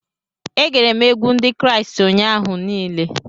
E gere m egwu Ndị Kraịst ụnyaahụ niile